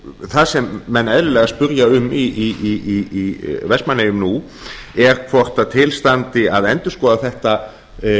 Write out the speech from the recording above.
það sem menn eðlilega spyrja um í vestmannaeyjum nú er hvort til standi að endurskoða þetta